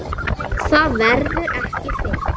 Það verður ekki fyllt.